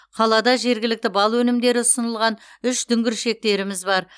қалада жергілікті бал өнімдері ұсынылған үш дүңгіршектеріміз бар